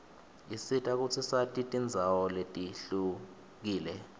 isisita kutsi sati tindzawo letihlukile